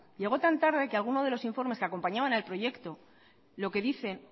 llegó tan tarde que alguno de los informes que acompañaban al proyecto lo que dicen